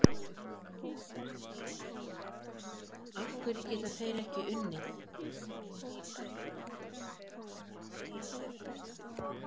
Af hverju geta þeir ekki unnið?